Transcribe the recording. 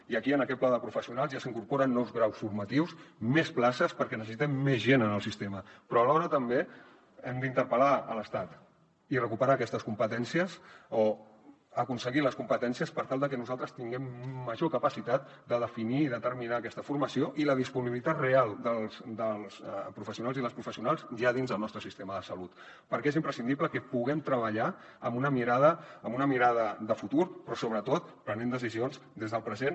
i aquí en aquest pla de professionals ja s’incorporen nous graus formatius més places perquè necessitem més gent en el sistema però alhora també hem d’interpel·lar l’estat i recuperar aquestes competències o aconseguir les competències per tal de que nosaltres tinguem major capacitat de definir i determinar aquesta formació i la disponibilitat real dels professionals i les professionals ja dins del nostre sistema de salut perquè és imprescindible que puguem treballar amb una mirada de futur però sobretot prenent decisions des del present